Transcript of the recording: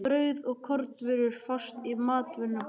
Brauð og kornvörur fást í matvörubúðinni.